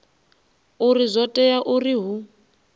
uri zwo tea uri hu